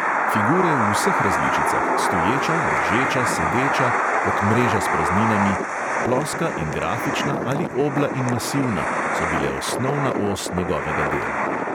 Figure v vseh različicah: stoječa, ležeča, sedeča, kot mreža s prazninami; ploska in grafična ali obla in masivna, so bile osnovna os njegovega dela.